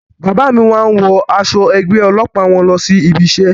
Bàbá mí máa ń wọ aṣọ ẹgbẹ́ ọlọ́pàá wọn lọ sí ibi isẹ́